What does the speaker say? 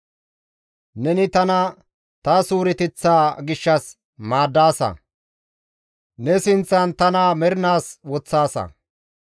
Neni tana ta suureteththa gishshas maaddaasa; ne sinththan tana mernaas woththaasa.